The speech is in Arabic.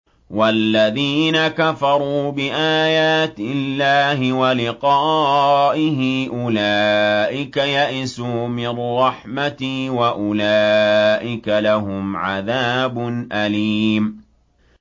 وَالَّذِينَ كَفَرُوا بِآيَاتِ اللَّهِ وَلِقَائِهِ أُولَٰئِكَ يَئِسُوا مِن رَّحْمَتِي وَأُولَٰئِكَ لَهُمْ عَذَابٌ أَلِيمٌ